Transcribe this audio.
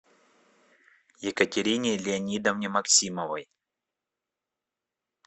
екатерине леонидовне максимовой